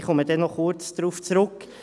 Ich komme später kurz darauf zurück.